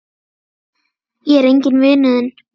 Ég er enginn vinur þinn!